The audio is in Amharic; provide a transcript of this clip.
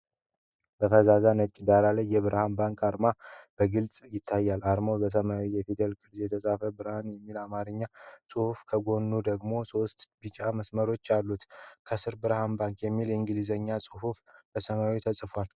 በፈዛዛ ነጭ ዳራ ላይ የብርሃን ባንክ አርማ በግልጽ ይታያል። አርማው በሰማያዊ የፊደል ቅርፅ የተጻፈ "ብርሃን" የሚል የአማርኛ ጽሑፍና ከጎኑ ደግሞ ሶስት ቢጫ መስመሮች አሉት። ከሥር "Berhan Bank S.C." የሚል የእንግሊዝኛ ቃል በሰማያዊ ተጽፏል።